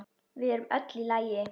Við erum öll í lagi.